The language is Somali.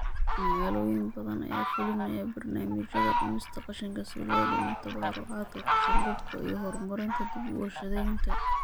Magaalooyin badan ayaa fulinaya barnaamijyada dhimista qashinka si loo dhimo tabarucaadka qashin-qubka iyo horumarinta dib-u-warshadaynta.